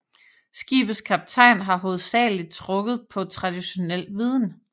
Skibets kaptajn har hovedsageligt trukket på traditionel viden